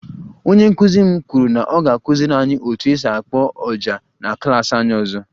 Onye nkụzi m kwuru na ọ ga-akụziri anyị otu esi akpo ọjà na klas anyị ọzọ